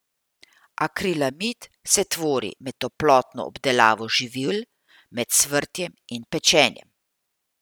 Akrilamid se tvori med toplotno obdelavo živil, med cvrtjem in pečenjem.